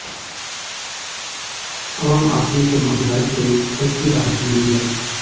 आम आदमी को महंगाई से हल्की राहत मिली है